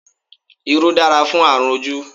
Irú dára fún àrùn ojú